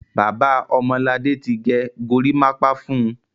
Bàbá Ọmọladé ti gẹ gorímápá fún un.